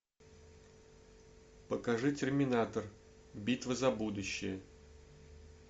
покажи терминатор битва за будущее